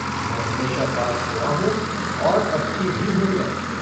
मैं हमेशा पास हुआ हूँ और अबकी भी हूँगा।